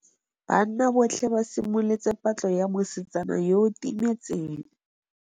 Banna botlhê ba simolotse patlô ya mosetsana yo o timetseng.